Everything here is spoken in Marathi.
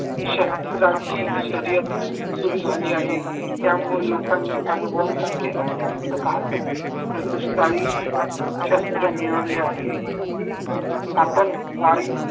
शस्त्रांची शर्यत सुरू झाली आहे त्यामुळे लोकांनी अणुबॉम्ब सारख्या अत्यंत घातक प्रतिश कारी शस्त्र मिळवले आहेत आपण वायू